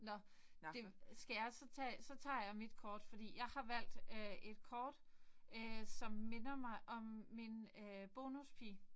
Nåh det skal jeg så tage så tager jeg mit kort fordi jeg har valgt øh et kort øh som minder mig om min øh bonuspige